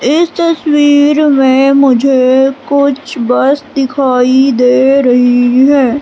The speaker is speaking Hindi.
इस तस्वीर में मुझे कुछ बस दिखाई दे रही हैं।